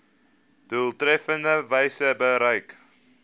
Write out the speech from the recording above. doeltreffendste wyse bereik